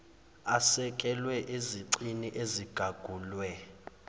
asekelwe ezicini ezigagulwe